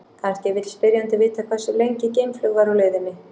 Kannski vill spyrjandinn vita hversu lengi geimflaug væri á leiðinni.